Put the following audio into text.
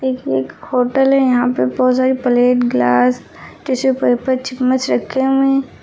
यह एक होटल है यहां पे बहुत सारी प्लेट ग्लास टिशु पेपर चम्मच रखे हुए हैं।